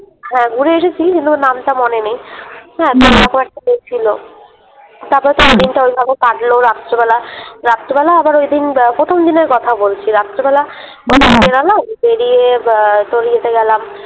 হ্যাঁ ঘুরে এসেছি কিন্তু নামটা মনে নেই। হ্যাঁ তারপরেতো ওইদিনটা ঐভাবে কাটলো রাত্রিবেলা রাত্রিবেলা আবার ঐদিন প্রথম দিনের কথা বলছি রাত্রিবেলা আবার বেড়ালাম বেরিয়ে তোর ইয়েতে গেলাম